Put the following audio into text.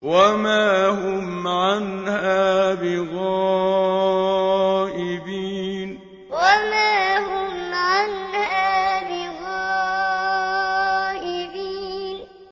وَمَا هُمْ عَنْهَا بِغَائِبِينَ وَمَا هُمْ عَنْهَا بِغَائِبِينَ